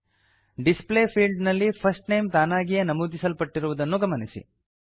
display field ನಲ್ಲಿ first name ತಾನಗಿಯೇ ನಮೂದಿಸಲ್ಪಟ್ಟಿರುವುದನ್ನು ಗಮನಿಸಿ